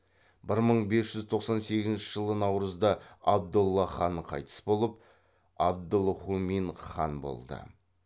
бір мың бес жүз тоқсан сегізінші жылы наурызда абдолла хан қайтыс болып абдылһұмин хан болды